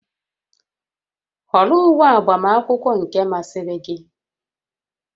Họrọ uwe agbamakwụkwọ nke masịrị gị!